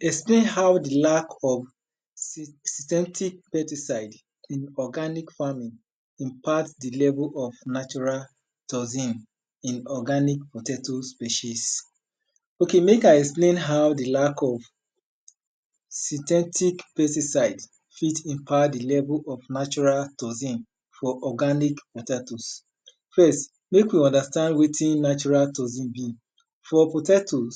Explain how lack of synthetic pesticide in organic farming impact the level of natural toxin in organic potatoes species. Ok mek I explain how di lack of synthetic pesticide fit impact di level of natural toxin for organic potatoes. Fitst mek we understand wetin natural toxin be. Fo kpotatoes,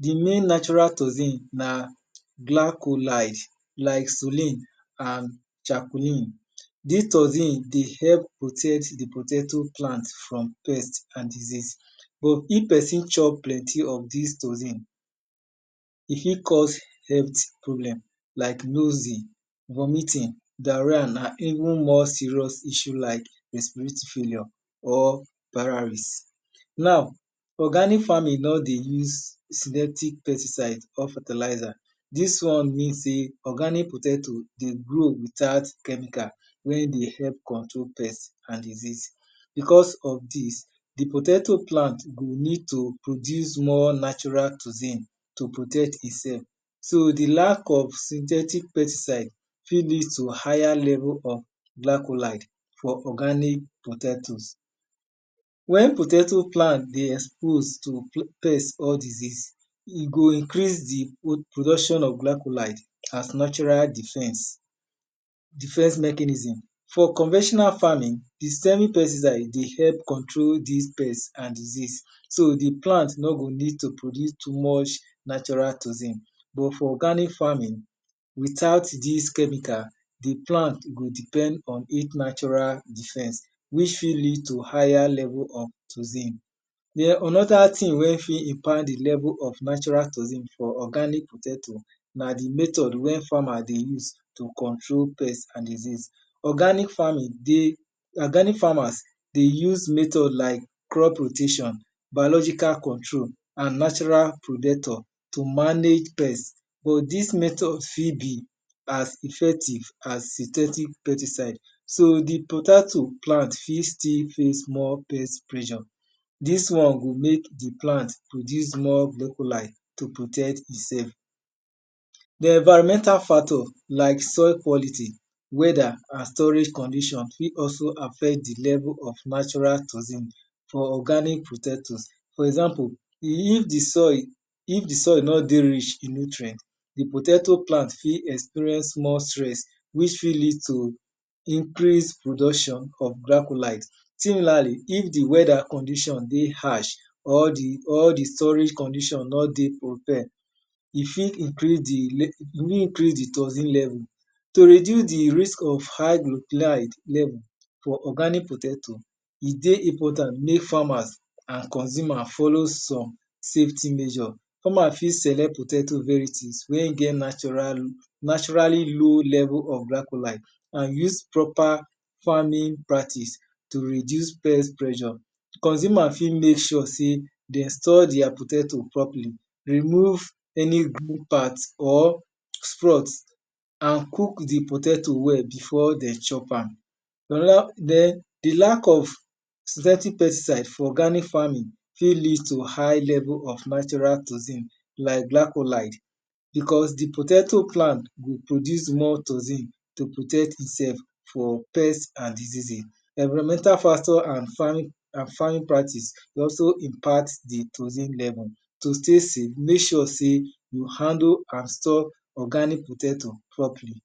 di main natural toxin na glacholide,, glysollen, and chakolyne. Dis toxin dey help protect di poato plant from pest and disease but if pesin chop plenty of dis toxin, e fit cause health problem like noxin, vomiting, diarrhea and even more serious issue like respiratory failure. Now organic farming nor dey use synthetic pesticide or fertilizer, dis one mean sey organic potato dey grow without clevical wey dey help control pst and disease. Because of dis, di potato plant go need to produce more natural toxin to protect e self. So di lack of synthetic pesticide fit lead to higher level of glycholide for organic potatoes. Wen potato plant dey expose to pest of disease, e go increase di production of glycholode as natural defence mechanism. For conventional farming, di di pesticide ey help control di pest and disease so di plant nor go need produce too much natural toxin. But for organic farming, without dis chemical, di plant go depend on its natural defense which fit lead to its higher of toxin. Den anoda thing wey fit de level of natural toxin of organic potato na di method wen farmers dey use to control pest and disease. Organic farmers dey use method like crop rotation, biological control and natural protector to manage pest. But dis method fit be as effective as synthetic pesticide. So di potato plant fit still use more pressure. Dis one go mek di plant produce more glycholide to protect itself. Di environmental factor like soil quality, weather and storage condition fit also affect di level of natural toxin for organic potato. For example if di soil nor dey rich in nutrient, di potato plant fit experience more stress which fit lead to increase production of clytholide. Similarly if di weather condition dey h arsh or di storage condition nor dey ok, e fit increase di toxin level. To reduce di risk of hard cholchlide level of organic potato, e dey important mek important mek farmers and consumer follow some safty measure. Farmer fit select potato wey get naturally low level of glycholide and use proper farming practice to reduce pressure. Consumr fit mek sure sey den store their potato properly den remove any part green part and cook di potato well before den chop am. Lack of synthetic dpesticide for organic farming fit lead to hight level of natural toxin like glycholide because di potato flam will produce more toxin to protect e self for pest and disease. Environmental factor de also impact di toxin level. To stay save, mek sure sey u handle and store organic potato properly.